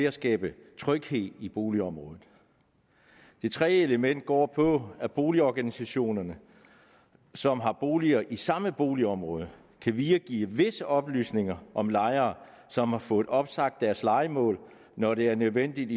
at skabe tryghed i boligområdet det tredje element går på at boligorganisationer som har boliger i samme boligområde kan videregive visse oplysninger om lejere som har fået opsagt deres lejemål når det er nødvendigt